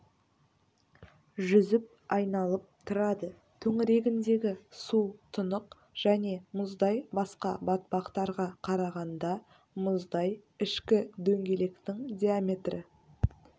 жүзіп айналып тұрады төңірегіндегі су тұнық және мұздай басқа батпақтарға қарағанда мұздай ішкі дөңгелектің диаметрі